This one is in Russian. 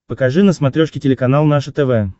покажи на смотрешке телеканал наше тв